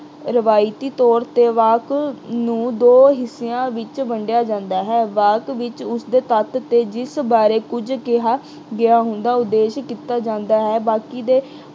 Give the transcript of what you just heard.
ਰਵਾਇਤੀ ਤੌਰ ਤੇ ਵਾਕ ਨੂੰ ਦੋ ਹਿੱਸਿਆਂ ਵਿੱਚ ਵੰਡਿਆ ਜਾਂਦਾ ਹੈ। ਵਾਕ ਵਿੱਚ ਉਸਦੇ ਤੱਤ ਬਾਰੇ ਕੁੱਝ ਕਿਹਾ ਗਿਆ ਹੁੰਦਾ, ਉਦੇਸ਼ ਕੀਤਾ ਜਾਂਦਾ ਹੈ ਬਾਕੀ ਦੇ